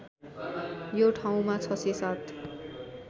यो ठाउँमा ६०७